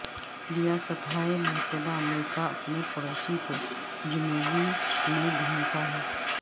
ریاستہائے متحدہ امریکہ اپنے پڑوسی کو جنوبی میں گھومتا ہے